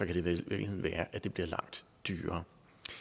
i virkeligheden være at det bliver langt dyrere